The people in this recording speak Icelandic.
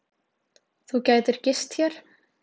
Þú gætir gist hér.